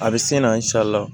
A bɛ se na